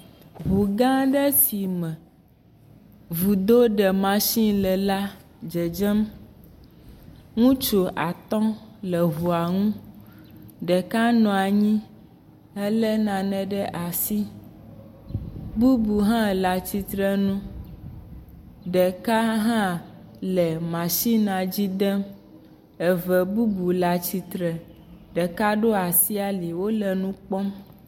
Ŋu gã aɖe si me vudo ɖe masini le la dzedzem. Ŋutsu atɔ̃ le ŋua ŋu ɖeka nɔ anyi hele nane ɖe asi. Bubu hã le atsitrenu ɖeka hã le masinia dzi dem. Eve bubu le atsitre. Ɖeka ɖo asi ali wole nu kpɔm.